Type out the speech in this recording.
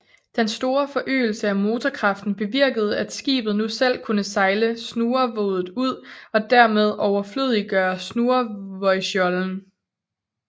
Den store forøgelse af motorkraften bevirkede at skibet nu selv kunne sejle snurrevoddet ud og dermed overflødiggøre snurrevodsjollen